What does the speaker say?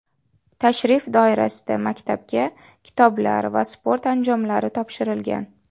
Tashrif doirasida maktabga kitoblar va sport anjomlari topshirilgan.